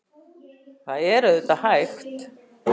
Það er auðvitað hægt.